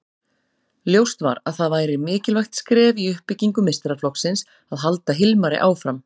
Ljóst var að það væri mikilvægt skref í uppbyggingu meistaraflokksins að halda Hilmari áfram.